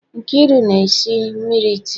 Nkeiru na-esi mmiri tii.